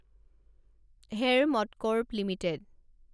Hero MotoCorp limited